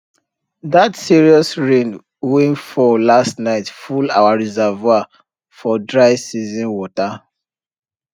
that serious rain wey fall last night full our reservoir for dry season water